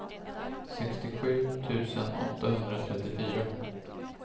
sextiosju tusen åttahundratrettiofyra